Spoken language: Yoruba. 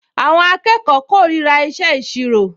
Àwọn akẹ́kọ̀ọ kórìíra ìṣe ìṣirò